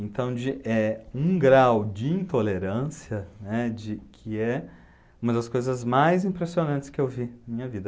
Então, de, eh, um grau de intolerância, né, de, que é uma das coisas mais impressionantes que eu vi na minha vida.